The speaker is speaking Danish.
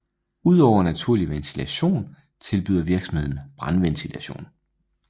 Udover naturlig ventilation tilbyder virksomheden i brandventilation